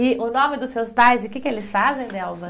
E o nome dos seus pais, o que que eles fazem, Delva?